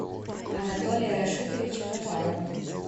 анатолия рашитовича гафарова